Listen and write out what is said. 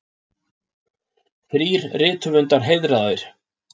Þrír rithöfundar heiðraðir